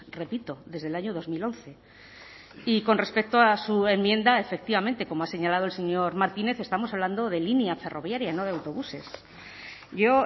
repito desde el año dos mil once y con respecto a su enmienda efectivamente como ha señalado el señor martínez estamos hablando de línea ferroviaria no de autobuses yo